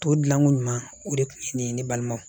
Tɔ dilanko ɲuman o de kun ye nin ye ne balimaw